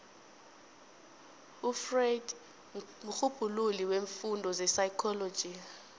ufreud mrhubhululi weemfundo zepsychology